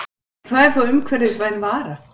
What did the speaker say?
En hvað er þá umhverfisvæn vara?